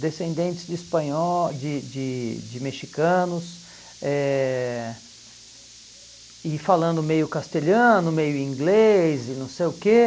descendentes de espanhóis de de de mexicanos eh, e falando meio castelhano, meio inglês, e não sei o quê.